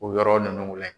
O yɔrɔ ninnu layɛ